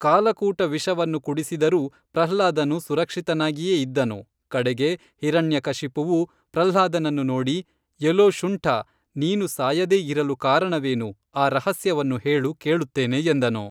ಕಾಲಕೂಟ ವಿಷವನ್ನು ಕುಡಿಸಿದರೂ ಪ್ರಹ್ಲಾದನು ಸುರಕ್ಷಿತನಾಗಿಯೇ ಇದ್ದನು ಕಡೆಗೆ ಹಿರಣ್ಯ ಕಶಿಪುವು ಪ್ರಹ್ಲಾದನನ್ನು ನೋಡಿ, ಎಲೋ ಶುಂಠಾ, ನೀನು ಸಾಯದೇ ಇರಲು ಕಾರಣವೇನು ಆ ರಹಸ್ಯವನ್ನು ಹೇಳು ಕೇಳುತ್ತೇನೆ ಎಂದನು